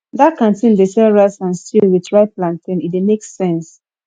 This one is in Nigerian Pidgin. dat canteen dey sell rice and stew wit ripe plantain e dey make sense